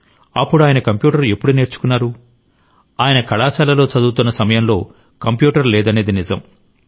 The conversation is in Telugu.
అప్పుడు ఆయన కంప్యూటర్ ఎప్పుడు నేర్చుకున్నారు ఆయన కళాశాలలో చదువుతున్న సమయంలో కంప్యూటర్ లేదనేది నిజం